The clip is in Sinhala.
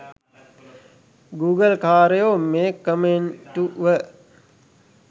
ගුගල්කාරයෝ මේ කමෙන්ටුව